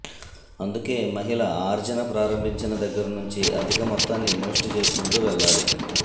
అందుకే మహిళ ఆర్జన ప్రారంభించిన దగ్గర్నుంచి అధిక మొత్తాన్ని ఇన్వెస్ట్ చేసుకుంటూ వెళ్ళాలి